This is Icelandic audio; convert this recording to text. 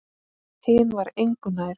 Hinn var engu nær.